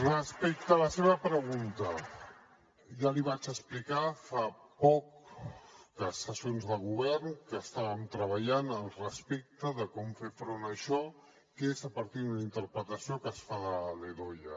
respecte a la seva pregunta ja li vaig explicar fa poc que en sessions de govern estàvem treballant respecte de com fer front a això que és a partir d’una interpretació que es fa de la ldoia